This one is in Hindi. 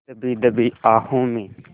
दबी दबी आहों में